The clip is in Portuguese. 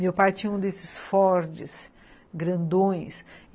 Meu pai tinha um desses Ford grandões.